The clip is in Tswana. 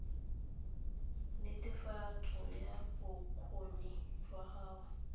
netefatso ya bokgoni jwa gago